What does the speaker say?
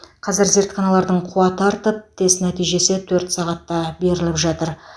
қазір зертханалардың қуаты артып тест нәтижесі төрт сағатта беріліп жатыр